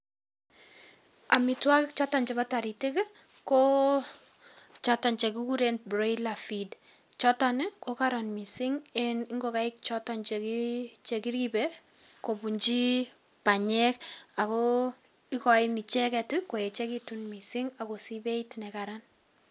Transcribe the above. Amitwokik choto chebo taritik ko choton che kikuren broiler feed choton ko karan mising eng ngokaik choton che kiripei kobunchi panyek ako ikoinicheket koechekitu mising akosiich beeit ne karan.